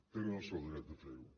tenen el seu dret a fer ho